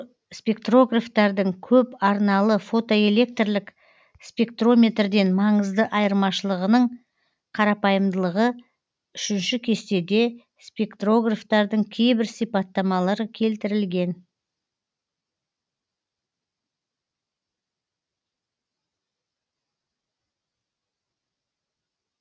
спектрографтардың көп арналы фотоэлектрлік спектрометрден маңызды айырмашылығының қарапайымдылығы үшінші кестеде спектрографтардың кейбір сипаттамалары келтірілген